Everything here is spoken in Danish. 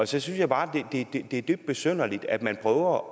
så synes jeg bare det er dybt besynderligt at man prøver